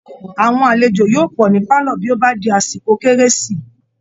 Aàwọn alejò yóò pọ̀ ní pálọ̀ bí ó bá di àsìkò kérési